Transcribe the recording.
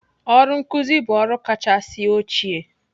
Ọrụ nkuzi bụ ọrụ kachasị ochie'